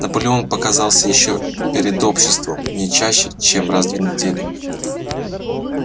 наполеон показывался ещё перед обществом не чаще чем раз в две недели